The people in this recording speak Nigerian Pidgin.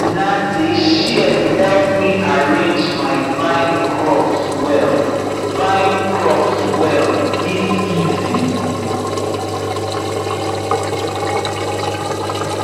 na these shears help me arrange my vine crops well vine crops well this season